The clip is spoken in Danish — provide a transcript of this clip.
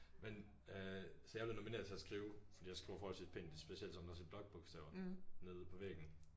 Men øh så jeg er blevet nomineret til at skrive fordi jeg skriver forholdsvist pænt specielt sådan også i blokbogstaver nede på væggen